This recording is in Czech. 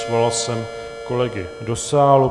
Svolal jsem kolegy do sálu.